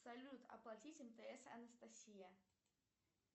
салют оплатить мтс анастасия